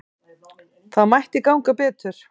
Það mætti ganga betur.